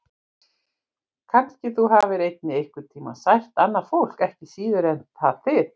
Kannski þú hafir einnig einhvern tíma sært annað fólk, ekki síður en það þig.